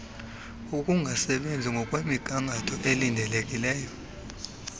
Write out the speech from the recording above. ukungasebenzi ngokwemnigangatho elindelekileyo